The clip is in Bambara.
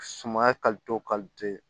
Sumaya